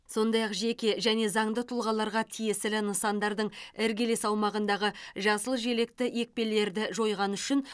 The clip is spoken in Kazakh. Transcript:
сондай ақ жеке жәнге заңды тұлғаларға тиесілі нысандардың іргелес аумағындағы жасыл желекті екпелерді жойғаны үшін